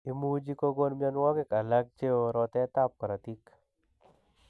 Imuchi kokon myonwogik alak cheo rotetab korotik